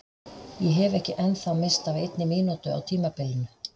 Ég hef ekki ennþá misst af einni mínútu á tímabilinu!